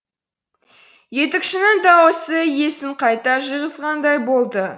етікшінің дауысы есін қайта жиғызғандай болды